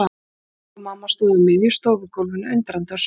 Ég heyrði þrusk og mamma stóð á miðju stofugólfinu undrandi á svip.